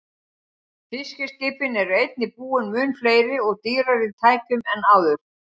Fiskiskipin eru einnig búin mun fleiri og dýrari tækjum en áður.